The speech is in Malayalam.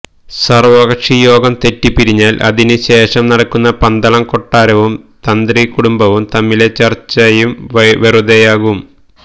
സർവ്വകക്ഷി യോഗം തെറ്റിപിരിഞ്ഞാൽ അതിന് ശേഷം നടക്കുന്ന പന്തളം കൊട്ടാരവും തന്ത്രി കുടുംബവും തമ്മിലെ ചർച്ചയും വെറുതെയാകും